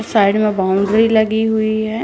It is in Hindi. साइड में बॉउंड्री लगी हुई है।